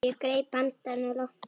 Ég greip andann á lofti.